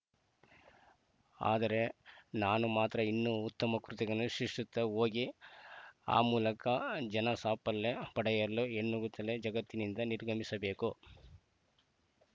ಆದರೆ ನಾನು ಮಾತ್ರ ಇನ್ನೂ ಉತ್ತಮ ಕೃತಿಗಳನ್ನು ಸೃಷಿತ್ತ ಹೋಗಿ ಆ ಮೂಲಕ ಜನ ಸಾಫಲ್ಯ ಪಡೆಯಲು ಹೆಣಗುತ್ತಲೇ ಜಗತ್ತಿನಿಂದ ನಿರ್ಗಮಿಸಬೇಕು